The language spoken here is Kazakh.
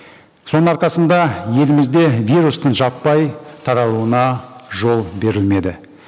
соның арқасында елімізде вирустың жаппай таралуына жол берілмеді